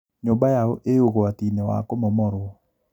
Nyũmba yao ĩ ũgwati-inĩ wa kũmomorwo